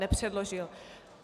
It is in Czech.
Nepředložil.